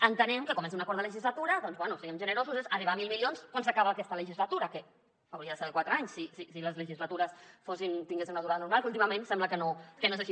entenem que comença un acord de legislatura doncs bé siguem generosos arribar a mil milions quan s’acaba aquesta legislatura que hauria de ser de quatre anys si les legislatures tinguessin una durada normal que últimament sembla que no que no és així